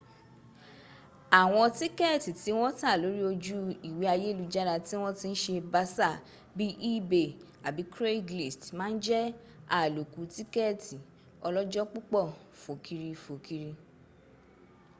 awọn tikẹẹti ti wọn ta lori oju iwe ayelujara ti wọn ti n se basa bii ebay abi craiglist ma n jẹ aloku tikẹẹti ọlọjọ-pupọ fokiri-fokiri